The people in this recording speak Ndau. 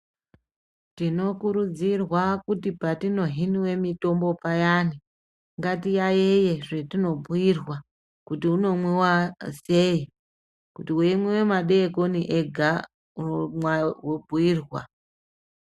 Tinokurudzirwa kuti patino hiniwe mitombo payani ngati yayiye zvetino bhuyirwa kuti unomwiwa sei kuti wei mwiwe madekoni ega womwa wobhuyirwa.